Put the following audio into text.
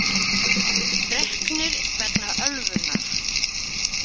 Reknir vegna ölvunar